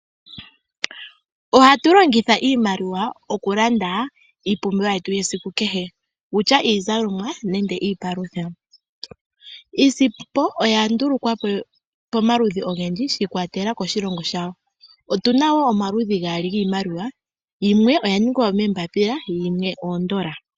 Ohatu longitha iimaliwa oku landa iipumbiwa yetu yesiku kehe, owutya iizalomwa nenge iipalutha. Iisimpo oya ndulukwa po pamaludhi ogendji shi kwatelela koshilongo shawo. Otuna omaludhi gaali giimaliwa yimwe oya ningwa moombapila yimwe omoondola.